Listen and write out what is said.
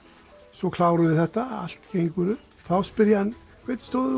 svo klárum við þetta og allt gengur upp þá spyr ég hann hverngi stóð